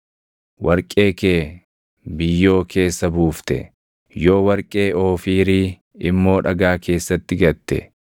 warqee kee biyyoo keessa buufte, yoo warqee Oofiirii immoo dhagaa keessatti gatte,